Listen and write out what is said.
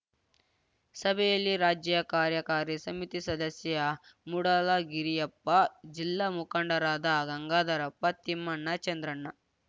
ಸಭೆಯಲ್ಲಿ ರಾಜ್ಯ ಕಾರ್ಯಕಾರಿ ಸಮಿತಿ ಸದಸ್ಯ ಮೂಡಲಗಿರಿಯಪ್ಪ ಜಿಲ್ಲಾ ಮುಖಂಡರಾದ ಗಂಗಾಧರಪ್ಪ ತಿಮ್ಮಣ್ಣ ಚಂದ್ರಣ್ಣ